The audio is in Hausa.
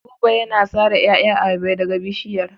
Buba yana sare ƴaƴan ayaba daga bishiyar.